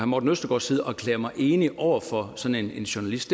morten østergaards side og erklære mig enig over for sådan en journalist